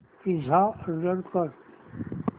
pizza order कर